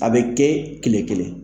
A bɛ kɛ kile kelen